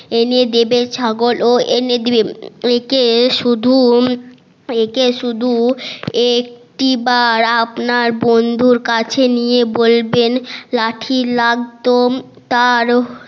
এনে দেবে ছাগল ও এনে দেবে একে শুধু একে শুধু একটি বার আপনার বন্ধুর কাছে নিয়ে বলবেন লাঠি লাগতো তা